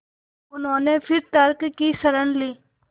उन्होंने फिर तर्क की शरण ली